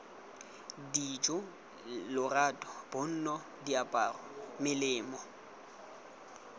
dijo lorato bonno diaparo melemo